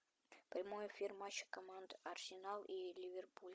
прямой эфир матча команды арсенал и ливерпуль